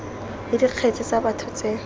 le dikgetse tsa batho tse